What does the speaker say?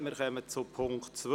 Wir kommen zum Punkt 2.